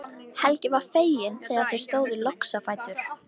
Helgi var feginn þegar þau stóðu loks á fætur.